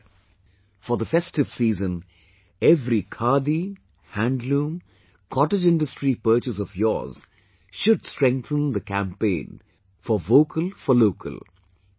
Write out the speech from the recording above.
, for the festive season, every khadi, handloom, cottage industry purchase of yours should strengthen the campaign for 'Vocal for Local', it